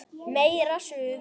Meira Suð!